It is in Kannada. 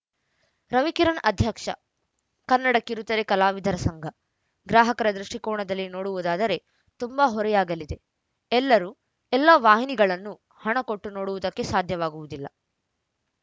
ರವಿಕಿರಣ್‌ ಅಧ್ಯಕ್ಷ ಕನ್ನಡ ಕಿರುತೆರೆ ಕಲಾವಿದರ ಸಂಘ ಗ್ರಾಹಕರ ದೃಷ್ಟಿಕೋನದಲ್ಲಿ ನೋಡುವುದಾದರೆ ತುಂಬಾ ಹೊರೆಯಾಗಲಿದೆ ಎಲ್ಲರೂ ಎಲ್ಲ ವಾಹಿನಿಗಳನ್ನು ಹಣ ಕೊಟ್ಟು ನೋಡುವುದಕ್ಕೆ ಸಾಧ್ಯವಾಗುವುದಿಲ್ಲ